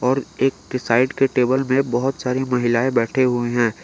और एक के साइड के टेबल मे बहोत सारी महिलाएं बैठे हुए हैं।